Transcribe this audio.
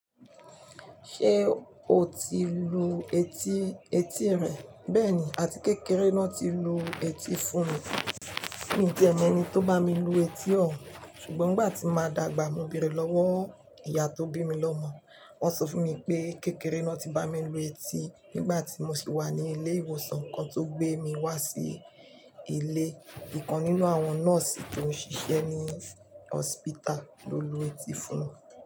Ṣé o ti lu etí, etí rẹ? Bẹ́ẹ̀ni, àti kékeré náà ti lu etí fún mi. Mi o ti ẹ mọ ẹni tó bá mi lu etí ohun, ṣùgbọ́n nìgbà tí máa dàgbà, mo bèrè lọ́wọ́ ìyá tó bí mi lọ́mọ. Wọn sọ fún mi pé kékeré náà ti bá mi lu etí nígbà tí mo sì wà ní ilé ìwòsàn kan tó gbé mi wá sí ilé. Ìkan nínú àwọn nọ́ọ̀sì tó ń ṣiṣẹ́ ní hospital ló lu etí fún mi.